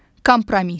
Kompromis.